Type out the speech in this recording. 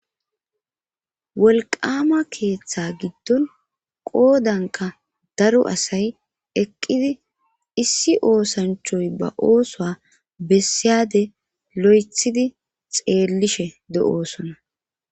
Wolqama keeththa giddon qoodanka daro asay eqqidi issi oosanchoy ba ooso bessiyade lo'ethidi xeellishe de'oosona